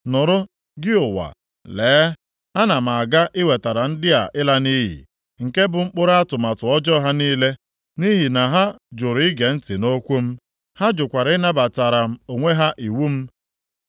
Nụrụ, gị ụwa, lee, ana m aga iwetara ndị a ịla nʼiyi, nke bụ mkpụrụ atụmatụ ọjọọ ha niile, nʼihi na ha jụrụ ige ntị nʼokwu m. Ha jụkwara ịnabatara onwe ha iwu m.